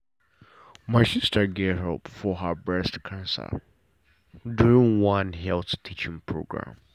my sister get help for her breast cancer during one health teaching program